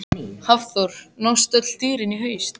Hafþór: Nást öll dýr í haust?